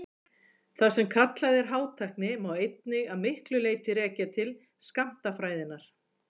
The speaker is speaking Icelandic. það sem kallað er hátækni má einmitt að miklu leyti rekja til skammtafræðinnar